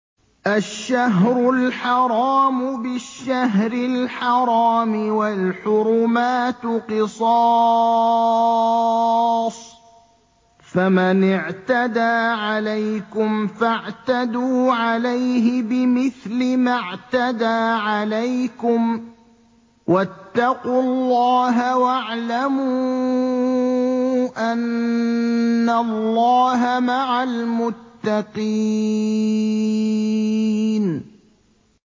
الشَّهْرُ الْحَرَامُ بِالشَّهْرِ الْحَرَامِ وَالْحُرُمَاتُ قِصَاصٌ ۚ فَمَنِ اعْتَدَىٰ عَلَيْكُمْ فَاعْتَدُوا عَلَيْهِ بِمِثْلِ مَا اعْتَدَىٰ عَلَيْكُمْ ۚ وَاتَّقُوا اللَّهَ وَاعْلَمُوا أَنَّ اللَّهَ مَعَ الْمُتَّقِينَ